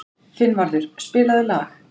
Finnvarður, spilaðu lag.